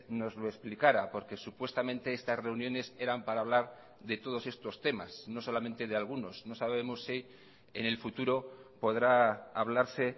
nos lo explicara porque supuestamente estas reuniones eran para hablar de todos estos temas no solamente de algunos no sabemos si en el futuro podrá hablarse